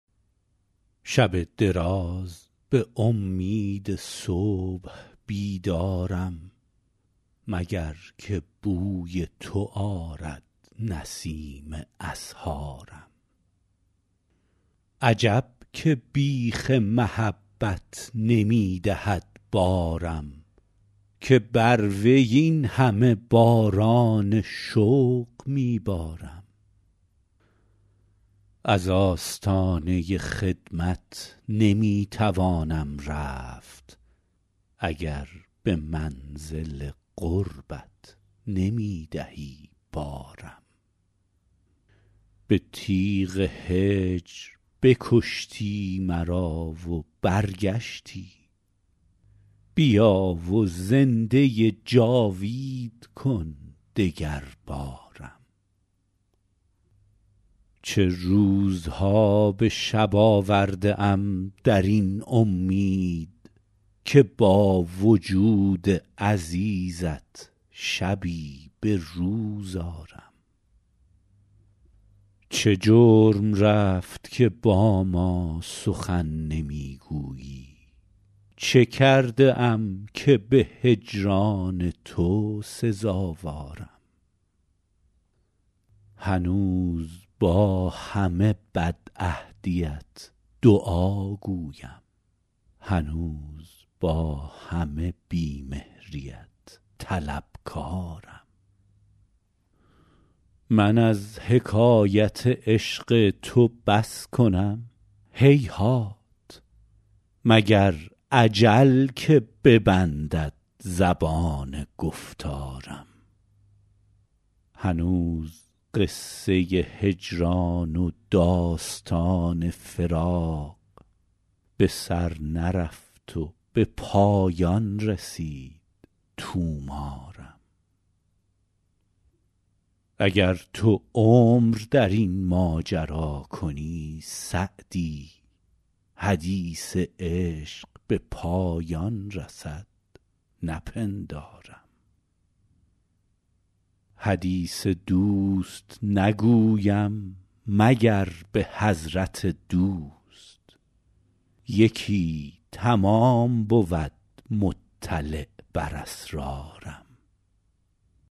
شب دراز به امید صبح بیدارم مگر که بوی تو آرد نسیم اسحارم عجب که بیخ محبت نمی دهد بارم که بر وی این همه باران شوق می بارم از آستانه خدمت نمی توانم رفت اگر به منزل قربت نمی دهی بارم به تیغ هجر بکشتی مرا و برگشتی بیا و زنده جاوید کن دگربارم چه روزها به شب آورده ام در این امید که با وجود عزیزت شبی به روز آرم چه جرم رفت که با ما سخن نمی گویی چه کرده ام که به هجران تو سزاوارم هنوز با همه بدعهدیت دعاگویم هنوز با همه بی مهریت طلبکارم من از حکایت عشق تو بس کنم هیهات مگر اجل که ببندد زبان گفتارم هنوز قصه هجران و داستان فراق به سر نرفت و به پایان رسید طومارم اگر تو عمر در این ماجرا کنی سعدی حدیث عشق به پایان رسد نپندارم حدیث دوست نگویم مگر به حضرت دوست یکی تمام بود مطلع بر اسرارم